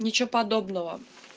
ничего подобного